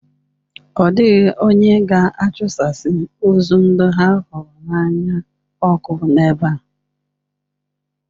Ọ dịghị onye ga-achụsasị ozu ndị ha hụrụ n'anya ọkụ n'ebe a.